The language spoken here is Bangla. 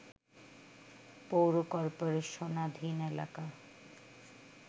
পৌর কর্পোরেশনাধীন এলাকা